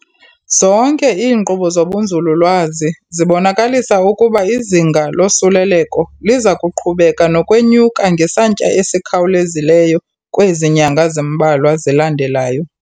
Zonke iinkqubo zobunzululwazi zibonakalisa ukuba izinga losuleleko liza kuqhubeka nokwenyuka ngesantya esikhawulezileyo kwezi nyanga zimbalwa zilandelayo.